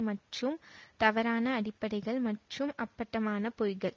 மற்றும் தவறான அடிப்படைகள் மற்றும் அப்பட்டமான பொய்கள்